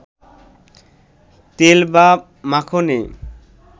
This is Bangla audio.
তেল বা মাখনে